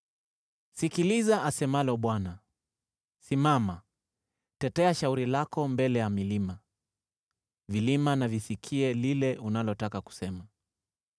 Sikiliza asemalo Bwana : “Simama, tetea shauri lako mbele ya milima; vilima na visikie lile unalotaka kusema.